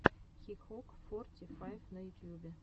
хикок форти файв на ютьюбе